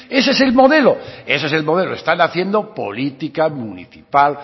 ese es el modelo están haciendo política municipal